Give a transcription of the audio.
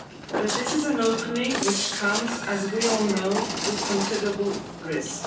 But this is an opening which comes, as we all know, with considerable risk.